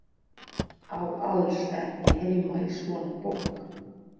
Á alls ekki heima í svona bók.